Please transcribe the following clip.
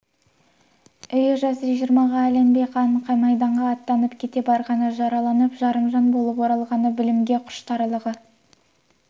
үйі жасы жиырмаға ілінбей қан майданға аттанып кете барғаны жараланып жарымжан болып оралғаны білімге құштарлығы